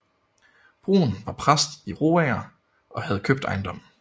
Bruun var præst i Roager og havde købt ejendommen